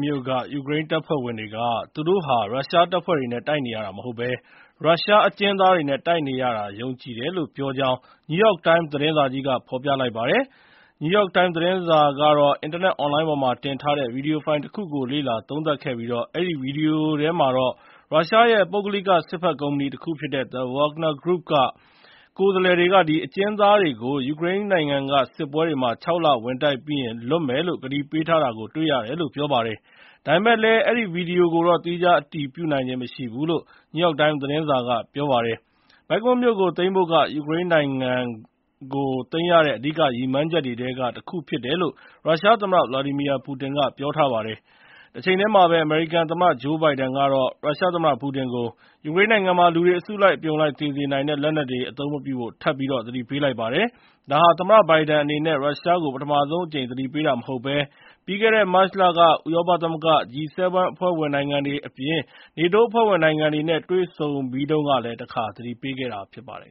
မြို့က ယူကရိန်းတပ်ဖွဲ့ဝင်တွေက သူတို့ဟာ ရုရှားတပ်ဖွဲ့နဲ့ တိုက်နေရတာမဟုတ်ဘဲ ရုရှားအကျဉ်းသားတွေနဲ့တိုက်နေရတာ ယုံကြည်တယ်လို့ ပြောကြားလိုက်ကြောင်း New York Times သတင်းစာကြီးက ဖော်ပြလိုက်ပါတယ်။ New York Times သတင်းစာကတော့ အင်တာနက်အွန်လိုင်းပေါ်မှာတင်ထားတဲ့ ဗွီဒီယိုဖိုင်တခုကို လေ့လာသုံးသပ်ခဲ့ပြီး အဲဒီဗွီဒီယိုထဲမှာတော့ ရုရှားရဲ့ပုဂ္ဂလိကစစ်ဘက်ကုမ္ပဏီတခုဖြစ်တဲ့ The Wagner Group က ကိုယ်စားလှယ်တွေက အကျဉ်းသားတွေကို ယူကရိန်းနိုင်ငံ စစ်ပွဲတွေမှာ ၆ လ ဝင်တိုက်ပြီးရင် လွှတ်မယ်လို့ ကတိပေးထားတာကို တွေ့ရတယ်လို့ ပြောပါတယ်။ ဒါပေမယ့်လည်း အဲဒီဗွီဒီယိုကိုတော့ သီးခြားအတည်ပြုနိုင်ခြင်းမရှိဘူးလို့ နယူးယောက်တိုင်းမ်စ်သတင်းစာက ပြောပါတယ်။ Bakhmut မြို့ကိုသိမ်းဖို့က ယူကရိန်းနိုင်ငံကို သိမ်းရတဲ့အဓိကရည်မှန်းချက်တွေထဲကတခုဖြစ်တယ်လို့ ရုရှားသမ္မတ ဗလာဒီမီယာပူတင်က ပြောပါတယ်။ တချိန်တည်းမှာပဲ အမေရိကန်သမ္မတဂျိုးဘိုင်ဒန်က ရုရှားသမ္မတ ပူတင်ကို ယူကရိန်းနိုင်ငံမှာ လူတွေအစုလိုက်အပြုံလိုက်သေစေနိုင် တဲ့ လက်နက်တွေကို အသုံးမပြုဖို့ ထပ်ပြီး သတိပေးလိုက်ပါတယ်။ ဒါဟာ သမ္မတဘိုင်ဒန်အနေနဲ့ ရုရှားကို ပထမဆုံးအကြိမ် သတိပေးတာမဟုတ်ဘဲ ပြီးခဲ့တဲ့ မတ်လက ဥရောပသမဂ္ဂ၊ G-7 အဖွဲ့ဝင်နိုင်ငံတွေအပြင် နေတိုးအဖွဲ့ဝင်နိုင်ငံတွေနဲ့ တွေ့ဆုံပြီးတဲ့တုန်းကလည်း တခါ သတိပေးထားတာဖြစ်ပါတယ်